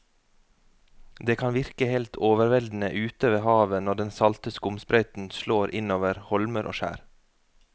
Det kan virke helt overveldende ute ved havet når den salte skumsprøyten slår innover holmer og skjær.